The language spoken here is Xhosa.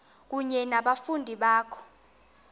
kunye nabafundi bakho